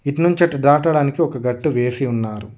ఇటునుంచి అటు దాటడానికి ఒక గట్టు వేసి ఉన్నారు.